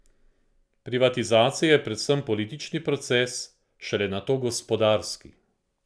Privatizacija je predvsem politični proces, šele nato gospodarski.